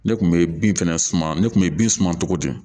Ne kun bɛ bin fɛnɛ suma ne kun bɛ bin suma cogo di